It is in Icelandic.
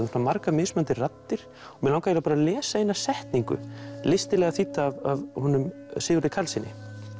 svona margar mismunandi raddir og mig langaði bara að lesa eina setningu listilega þýdda af honum Sigurði Karlssyni